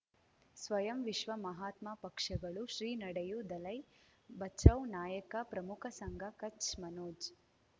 ಸ್ವಯಂ ವಿಶ್ವ ಮಹಾತ್ಮ ಪಕ್ಷಗಳು ಶ್ರೀ ನಡೆಯೂ ದಲೈ ಬಚೌ ನಾಯಕ ಪ್ರಮುಖ ಸಂಘ ಕಚ್ ಮನೋಜ್